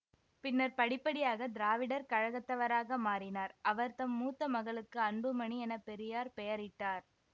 பின்னர் படிப்படியாக திராவிடர் கழகத்தவராக மாறினார் அவர்தம் மூத்தமகளுக்கு அன்புமணி என பெரியார் பெயரிட்டார்